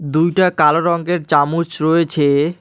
দুইটা কালো রঙ্গের চামুচ রয়েছে।